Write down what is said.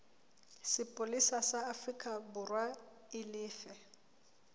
sepolesa sa aforikaborwa e lefe